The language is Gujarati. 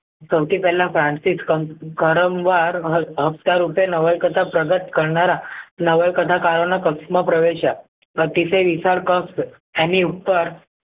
સૌથી પહેલા ઉપર નવલકથા પ્રગટ કરનારા નવલકથાકારો ના પક્ક્શ માં પ્રવેશ્ય અતિશય વિશાળ પક્ષ એમની ઉપર